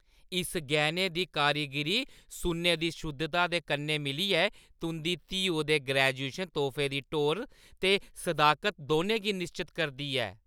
इस गैह्‌ने दी कारीगीरी सुन्ने दी शुद्धता दे कन्नै मिलियै, तुंʼदी धीऊ दे ग्रेजुएशन तोह्फे दी टौह्‌र ते सदाकत दौनें गी निश्चत करदी ऐ।